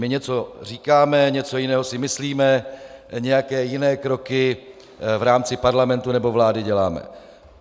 My něco říkáme, něco jiného si myslíme, nějaké jiné kroky v rámci parlamentu nebo vlády děláme.